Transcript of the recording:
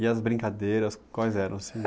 E as brincadeiras, quais eram assim?